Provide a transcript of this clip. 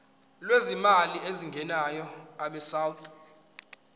lwezimali ezingenayo abesouth